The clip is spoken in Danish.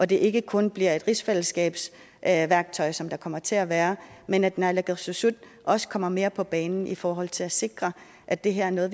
det ikke kun bliver et rigsfællesskabsværktøj som der kommer til at være men at naalakkersuisut også kommer mere på banen i forhold til at sikre at det her er noget